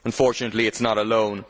Unfortunately, it is not alone.